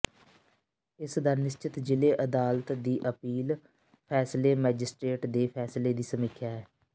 ਇਸ ਦਾ ਨਿਸ਼ਚਿਤ ਜ਼ਿਲ੍ਹੇ ਅਦਾਲਤ ਦੀ ਅਪੀਲ ਫ਼ੈਸਲੇ ਮੈਜਿਸਟ੍ਰੇਟ ਦੇ ਫ਼ੈਸਲੇ ਦੀ ਸਮੀਖਿਆ ਹੈ